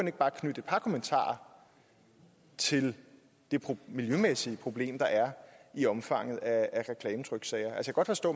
ikke bare knytte et par kommentarer til det miljømæssige problem der er i omfanget af reklametryksager jeg kan godt forstå